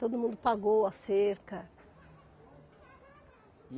Todo mundo pagou a cerca.